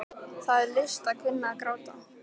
Það er list að kunna að gráta.